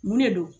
Mun de don